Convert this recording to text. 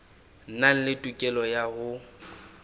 nang le tokelo ya ho